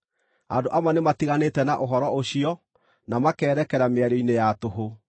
Andũ amwe nĩmatiganĩte na ũhoro ũcio na makerekera mĩario-inĩ ya tũhũ.